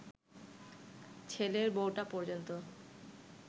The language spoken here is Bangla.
ছেলের বউটা পর্যন্ত